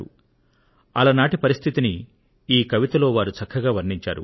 ఆ కవితలో అలనాటి పరిస్థితిని వారు చక్కగా వర్ణించారు